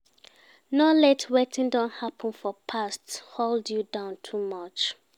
No let wetin don happen for past hold you down too much